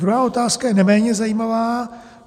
Druhá otázka je neméně zajímavá.